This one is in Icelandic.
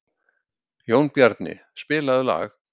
Jónbjarni, spilaðu lag.